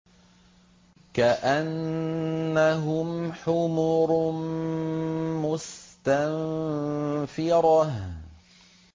كَأَنَّهُمْ حُمُرٌ مُّسْتَنفِرَةٌ